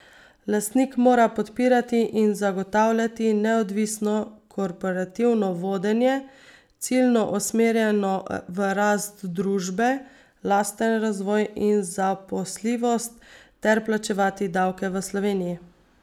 Lastnik mora podpirati in zagotavljati neodvisno korporativno vodenje, ciljno usmerjeno v rast družbe, lasten razvoj in zaposljivost, ter plačevati davke v Sloveniji.